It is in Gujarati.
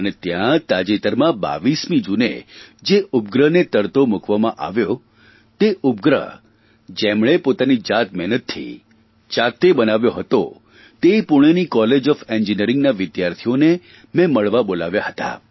અને ત્યાં તાજેતરમાં 22મી જૂને જે ઉપગ્રહને તરતો મૂકવામાં આવ્યો તે ઉપગ્રહ જેમણે પોતાની જાતમહેનતથી જાતે બનાવ્યો હતો તે પૂણેની કોલેજ ઓફ એન્જીનિયરીંગના વિદ્યાર્થીઓને મે મળવા બોલાવ્યા હતા